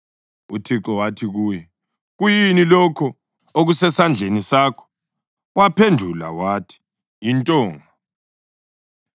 UThixo wathi kuye, “Kuyini lokho okusesandleni sakho?” Waphendula wathi, “Yintonga.”